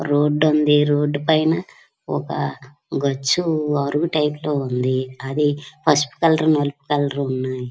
Road ఉన్నది road పైన ఒక గచ్చు అరుగు టైపులో లో ఉన్నది అది పసుపు కలర్ నలుపు కలర్ ఉన్నాయి.